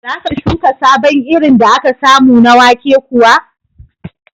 Za ka shuka sabon irin da aka samu na wake kuwa?